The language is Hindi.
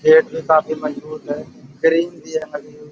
गेट भी काफी मजबूत है। भी है हरी हुई।